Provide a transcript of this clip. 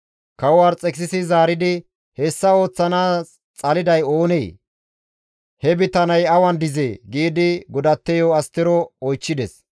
Kawo Arxekisisi zaaridi, «Hessa ooththanaas xaliday oonee? He bitaney awan dizee?» giidi godatteyo Astero oychchides.